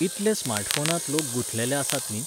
इतले स्मार्टफोनांत लोक गुंथलेले आसात न्ही